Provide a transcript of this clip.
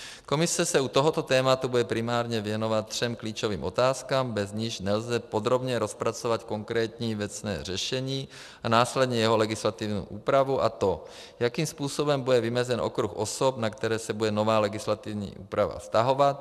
Komise se u tohoto tématu bude primárně věnovat třem klíčovým otázkám, bez nichž nelze podrobně rozpracovat konkrétní věcné řešení a následně jeho legislativní úpravu, a to jakým způsobem bude vymezen okruh osob, na které se bude nová legislativní úprava vztahovat.